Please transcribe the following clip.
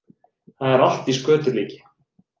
Það er allt í skötulíki